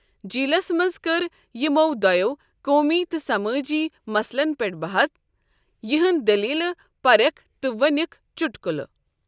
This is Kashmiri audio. جیلس منٛز کٔر یِمو دۄیو قومی تہٕ سمٲجی مسلن پٮ۪ٹھ بحث، یہنٛد دٔلیٖلہٕ پریٚکھ تہٕ ؤنِکھ چُٹکُلہٕ۔